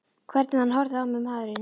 Hvernig hann horfði á mig, maðurinn!